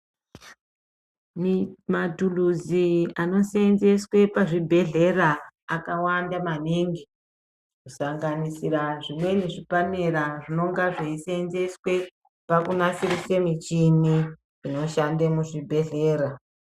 Matuluzi anosenzeswe pazvibhehlera akawanda maningi, kusanganisira zvimweni zvipanera zvinonga zveisenzeswe pakunasirise michini inoshande muzvibhehlera.